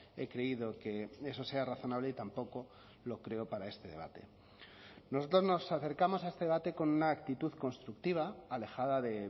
he creído que eso sea razonable y tampoco lo creo para este debate nosotros nos acercamos a este debate con una actitud constructiva alejada de